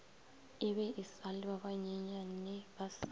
ebe esa le ba banyenyanebasa